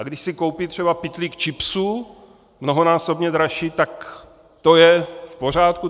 A když si koupí třeba pytlík chipsů, mnohonásobně dražší, tak to je v pořádku?